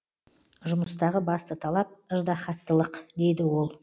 жұмыстағы басты талап ыждаһаттылық дейді ол